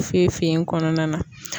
Fefe in kɔnɔna na.